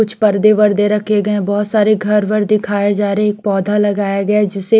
कुछ पर्दे वर्दे रखे गए बहोत सारे घर वर दिखाये जा रहे एक पौधा लगाया गया जिसे--